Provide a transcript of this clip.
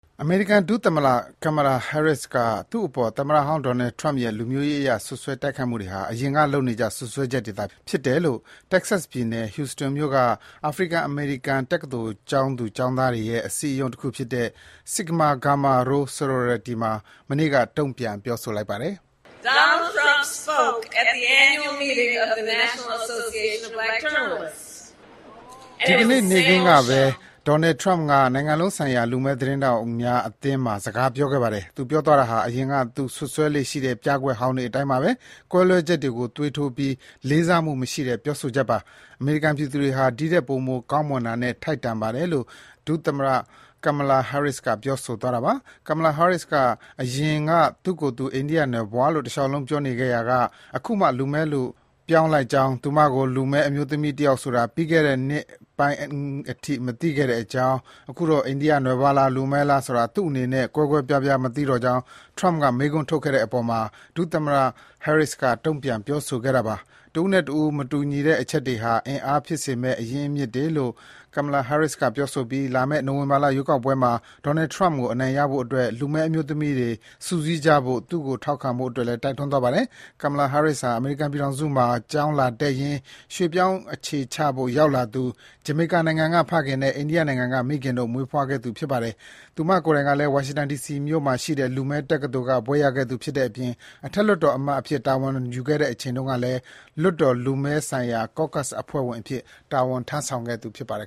အမေရိကန် ဒုသမ္မတကမ်မလာဟဲရစ်က သူ့အပေါ် သမ္မတဟောင်းဒေါ်နယ်ထရမ့်ရဲ့ လူမျိုးရေးအရ စွပ်စွဲတိုက်ခိုက်မှုဟာ အရင်က လုပ်နေကျ စွပ်စွဲချက်တွေသာ ဖြစ်တယ်လို့ တက္ကဆက်ပြည်နယ် Houston မြို့က အာဖရိကန်-အမေရိကန် တက္ကသိုလ် ကျောင်းသူ ကျောင်းသားတွေရဲ့ အစည်းအရုံးတခုဖြစ်တဲ့ Sigma Gamma Rho Sorority မှာ မနေ့က တုံ့ပြန်ပြောဆိုပါတယ်။ “ဒီနေ့ နေ့ခင်းကပဲ ဒေါ်နယ်ထရမ့်က နိုင်ငံလုံးဆိုင်ရာ လူမည်းသတင်းထောက်များအသင်းမှာ စကားပြောခဲ့ပါတယ်၊ သူပြောသွားတာတွေဟာ အရင်က သူ စွပ်စွဲလေ့ရှိတဲ့ ပြကွက်ဟောင်းတွေ အတိုင်းပါပဲ။ ကွဲလွဲချက်တွေကို သွေးထိုးပြီး လေးစားမှု မရှိတဲ့ပြောဆိုချက်ပါ။ အမေရိကန် ပြည်သူတွေဟာ ဒီထက် ပိုမိုကောင်းမွန်တာနဲ့ ထိုက်တန်ပါတယ်” - လို့ ဒုသမ္မတကမ်မလာဟဲရစ်က ပြောဆိုသွားတာပါ။ ကမ်မလာဟဲရစ်က အရင်က သူ့ကိုယ်သူ အိန္ဒိယနွယ်ဖွားလို့ တလျှောက်လုံး ပြောနေခဲ့ရာက အခုမှ လူမည်းလို့ ပြောင်းလိုက်ကြောင်း၊ သူမကို လူမည်း အမျိုးသမီးတယောက်ဆိုတာ ပြီးခဲ့တဲ့နှစ်ပိုင်းအထိ မသိခဲ့တဲ့အကြောင်း၊ အခုတော့ အိန္ဒိယနွယ်ဖွားလား၊ လူမည်းလားဆိုတာ သူ့အနေနဲ့ ကွဲကွဲပြားပြား မသိတော့ကြောင်း ထရမ့်က မေးခွန်းထုတ်သွားခဲ့တဲ့အပေါ် ဒုသမ္မတဟဲရစ်က တုန့်ပြန်ပြောဆိုခဲ့တာပါ။ တဦးနဲ့တဦး မတူကြတဲ့ အချက်တွေဟာ အင်အားဖြစ်စေမယ့် အရင်းအမြစ်တွေလို့ ကမ်မလာဟဲရစ်က ပြောဆိုပြီး လာမယ့် နိုဝင်ဘာလ ရွေးကောက်ပွဲမှာ ဒေါ်နယ်ထရမ့်ကို အနိုင်ရဖို့အတွက် လူမည်းအမျိုးသမီးတွေ စုစည်းကြဖို့နဲ့ သူ့ကို ထောက်ခံဖို့လည်း တိုက်တွန်းသွားပါတယ်။ ကမ်မလာဟဲရစ်ဟာ အမေရိကန်ပြည်ထောင်စုမှာ ကျောင်းလာတက်ရင်း ရွှေ့ပြောင်းအခြေချဖို့ ရောက်လာသူ ဂျမေကာနိုင်ငံက ဖခင်နဲ့ အိန္ဒိယနိုင်ငံက မိခင်တို့က မွေးဖွားခဲ့သူ ဖြစ်ပါတယ်။ သူမကိုယ်တိုင်ကလည်း ဝါရှင်တန်ဒီစီမြို့မှာရှိတဲ့ လူမည်းတက္ကသိုလ်က ဘွဲ့ရခဲ့သူဖြစ်တဲ့အပြင် အထက်လွှတ်တော်အမတ်အဖြစ် တာဝန်ယူခဲ့တဲ့အချိန်မှာလည်း လွှတ်တော်လူမည်းဆိုင်ရာ Caucus အဖွဲ့ဝင်အဖြစ် တာဝန်ယူခဲ့သူ ဖြစ်ပါတယ်